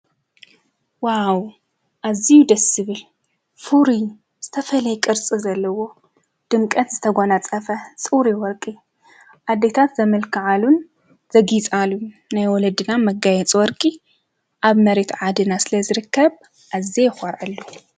ዋው ኣዝዩ ደስ ዝብል ፍሩይ ዝተፈለየ ቅርፂ ዘለዎ ድምቀት ዝተጎናፀፈ ፅሩይ ወርቂ ኣዴታት ዘምልክዓሉን ዘግፃሉን ናይ ወለድና መጋየፂ ወርቂ ኣብ መሬት ዓድና ስለዝርከብ ኣዝየ ይኮርዐሉ፡፡